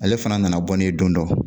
Ale fana nana bɔ ne ye don dɔ